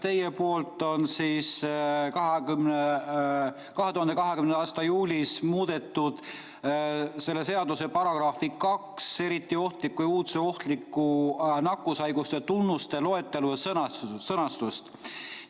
Teie poolt on 2020. aasta juulis muudetud selle seaduse § 2, kus on eriti ohtlike nakkushaiguste tunnused ja loetelu.